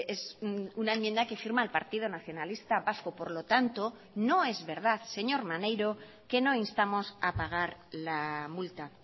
es una enmienda que firma el partido nacionalista vasco por lo tanto no es verdad señor maneiro que no instamos a pagar la multa